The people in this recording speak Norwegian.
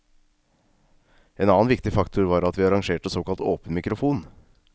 En annen viktig faktor var at vi arrangerte såkalt åpen mikrofon.